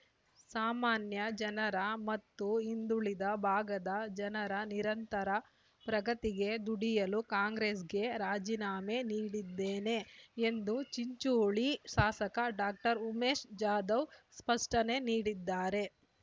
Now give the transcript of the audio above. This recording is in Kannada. ಸಾಮಾನ್ಯ ಜನರ ಮತ್ತು ಹಿಂದುಳಿದ ಭಾಗದ ಜನರ ನಿರಂತರ ಪ್ರಗತಿಗೆ ದುಡಿಯಲು ಕಾಂಗ್ರೆಸ್‌ಗೆ ರಾಜೀನಾಮೆ ನೀಡಿದ್ದೇನೆ ಎಂದು ಚಿಂಚೋಳಿ ಶಾಸಕ ಡಾಕ್ಟರ್ ಉಮೇಶ್‌ ಜಾಧವ್‌ ಸ್ಪಷ್ಟನೆ ನೀಡಿದ್ದಾರೆ